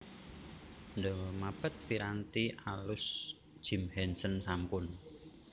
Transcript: The Muppets piranti alus Jim Henson sampun